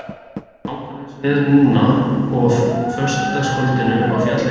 Það er nákvæmlega eins veður núna og á föstudagskvöldið á fjallinu.